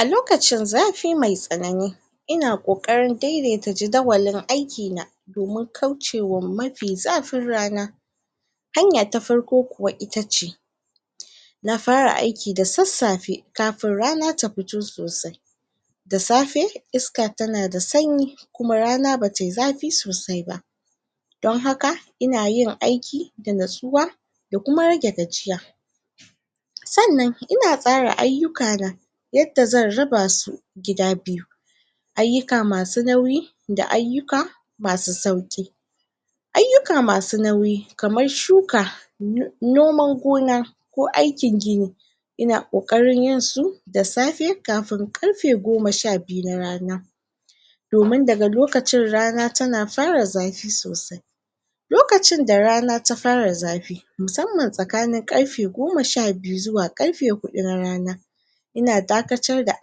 A lokacin zafi me tsanani ina ƙoƙarin dedeta jidawalin aiki na domin kaucewan mafi zafin rana hanya ta farko kuwa itace. Na fara aiki da tsasafe kafin rana ta fito sosai da safe iska ta na da sanyi kuma rana ba ta yi zafi sosai ba don haka ina yin aiki da natsuwa da kuma rage gajiya tsannan ina tsara ayuka na yadda zan raba su gida biyu ayuka masu nauyi da ayuka masu sauki. Ayuka masu nauyi kamar shuka noman gona ko aikin gini ina ƙoƙarin yin su da safe kafun karfe goma sha biyu na rana domin da ga lokacin rana ta na fara zafi sosai lokacin da rana ta fara zafi musamman tsakanin karfe goma sha biyu zuwa karfe hudu na rana. Ina dakatar da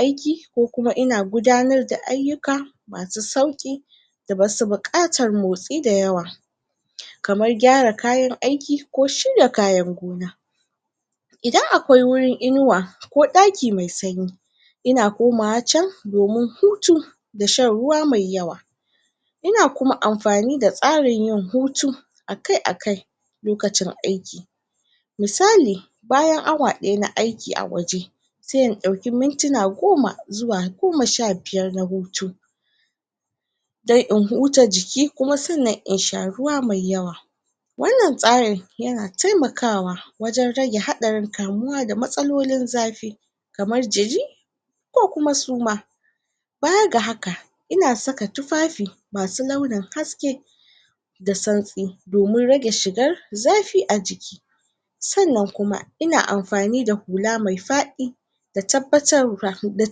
aiki ko kuma ina gudanar da ayuka masu sauki da basu bukatar motsi dayawa kamar gyara kayan aikiko shirya kayan gona. Idan akwai wurin inuwa, ko daki mai sanyi ina komawa can domin hutu da shan ruwa mai yawa ina kuma amfani da tsanrin yin hutu a kai, a kai, lokacin aiki musalli, bayan awa daya na aiki a waje se in dauki mintina goma zuwa goma sha biyar na hutu don in huta jiki kuma sannan in sha ruwa mai yawa. Wannan tsarin ya na taimakawa wajen rage haɗarin kamuwa da matsalolin zafi kamar jiri ko kuma suma bayar ga haka, ina saka tufafi masu launin haske da tsantsi domin rage shigar zafii a jiki tsannan kuma, ina amfani da hula mai fadi da tabbatar da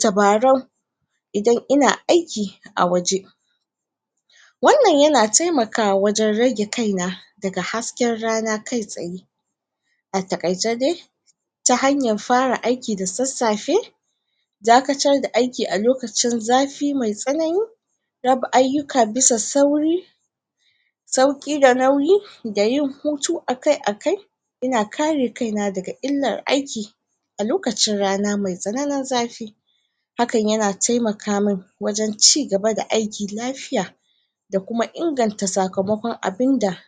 tabarau idan ina aiki a waje wannan ya na taimakawa wajen rage kai na da ga haske ranakai tsaye a takaice dai ta hanyar fara aiki da tsatsafe dakatar da aiki a lokacin zafi mai tsanani, raba ayuka bisa sauri sauki da nauyi da yin hutu a kai, a kai. Ina kare kai na da ga illar aiki a lokacin rana mai tsananin zafi hakan ya na taimaka mun wajen ci gaba da aiki lafiya da kuma inganta sakamakon abunda